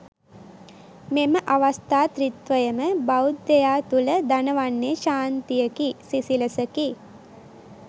මෙම අවස්ථා ත්‍රිත්වයම බෞද්ධයා තුළ දනවන්නේ ශාන්තියකි සිසිලසකි.